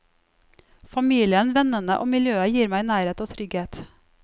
Familien, vennene og miljøet gir meg nærhet og trygghet.